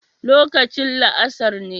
Lokacin la'asar ne